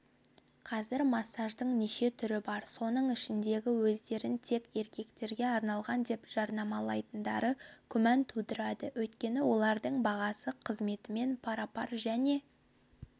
қазір массаждың неше түрі бар соның ішіндегі өздерін тек еркектерге арналған деп жарнамалайтындары күмән тудырады өйткені олардың бағасы қызметімен пара-пар және